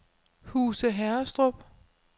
Huse Herrestrup